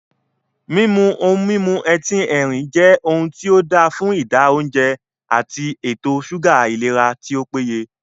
Mímu ohun mímu etín erin jẹ́ ohun tí ,óda fún ìdá óùnjẹ, ati ètò súgà ìlera tí ó péye